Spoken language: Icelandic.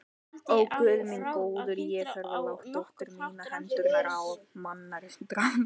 Ó, Guð minn góður, ég hef lagt dóttur mína í hendurnar á manndrápara.